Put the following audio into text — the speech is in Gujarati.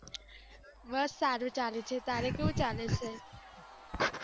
બસ સારું ચાલે છે, તારે કેવું ચાલે છે?